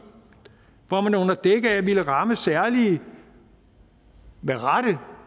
hvor man under dække af at ville ramme særlige med rette